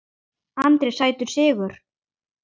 Andri: Sætur sigur?